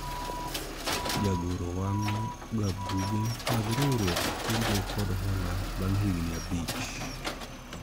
jagoro wang'o ga buge mag riwruog kungo kod hola bang' higni abich